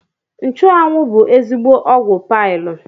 Nchụanwụ bụ ezigbo ọgwụ paịl